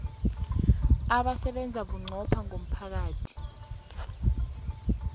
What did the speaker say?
abasebenza bunqopha ngomphakathi